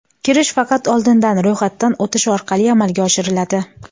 Kirish faqat oldindan ro‘yxatdan o‘tish orqali amalga oshiriladi.